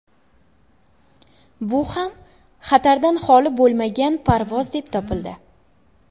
Bu ham xatardan holi bo‘lmagan parvoz deb topildi.